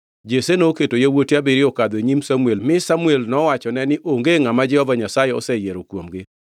Jesse noketo yawuote abiriyo okadho e nyim Samuel mi Samuel nowachone ni onge ngʼama Jehova Nyasaye oseyiero kuomgi.